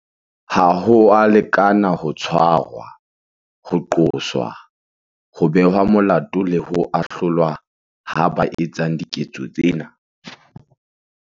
Ha ho a lekana ho tshwarwa, ho qoswa, ho behwa molato le ho ahlolwa ha ba etsang diketso tsena.